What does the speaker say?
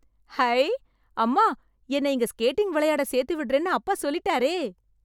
High... அம்மா, என்னை இங்க ஸ்கேட்டிங் விளையாட சேர்த்துவிடுறேன்னு அப்பா சொல்லிட்டாரே.